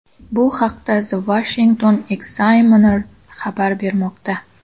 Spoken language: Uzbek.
Bu haqda The Washington Examiner xabar bermoqda .